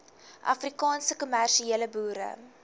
afrikaanse kommersiële boere